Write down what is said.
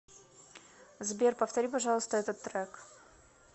сбер повтори пожалуйста этот трек